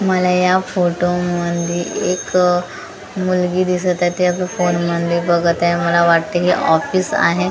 मला या फोटो मध्ये एक अ मुलगी दिसत आहे त्या फोन मध्ये बघत आहे मला वाटते हे ऑफिस आहे.